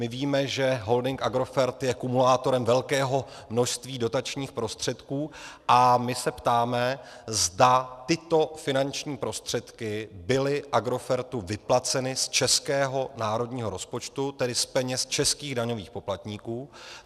My víme, že holding Agrofert je kumulátorem velkého množství dotačních prostředků, a my se ptáme, zda tyto finanční prostředky byly Agrofertu vyplaceny z českého národního rozpočtu, tedy z peněz českých daňových poplatníků.